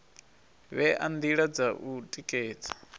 vhea ndila dza u tikedza